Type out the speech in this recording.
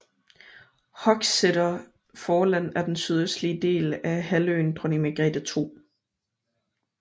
Hochstetter Forland er den sydøstlige del af halvøen Dronning Margrete 2